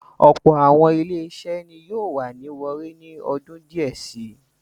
Ọ̀pọ̀lọpọ̀ àwọn ilé-iṣẹ́ ni yóò wà ní Owerri ni ọdún díẹ̀ si.